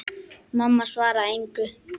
Mamma svaraði engu.